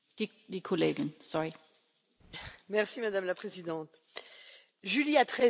Madame la Présidente, Julie a 13 ans, mais elle ne retournera plus à l'école.